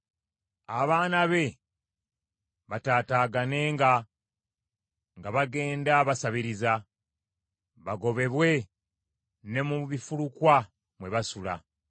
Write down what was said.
Abaana be bataataaganenga nga bagenda basabiriza; bagobebwe ne mu bifulukwa mwe basula.